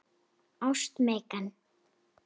Ást, Megan.